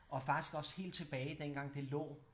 Og faktisk også helt tilbage dengang det lå